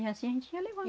E assim a gente ia levando.